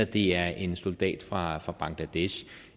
det er en soldat fra fra bangladesh